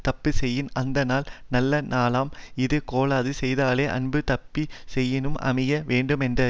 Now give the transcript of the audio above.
தப்பு செய்யின் அந்தநாள் நல்ல நாளாம் இது கேளாது செய்தலே அன்றித் தப்பு செய்யினும் அமைய வேண்டுமென்றது